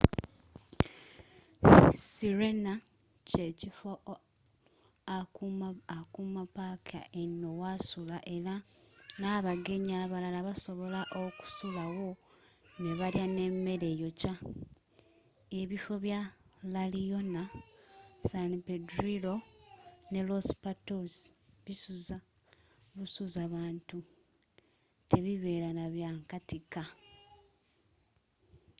sirena kyekifo akuuma paaka eno wasula era n'abagenyi abalala basobola okusula wo nebalya nemmere eyokya ebifo bya la leona san pedrillo nne los patos bisuza busuza bantu tebibeera nabyankatika